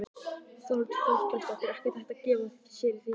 Þórhildur Þorkelsdóttir: Ekkert hægt að gefa sér í því samhengi?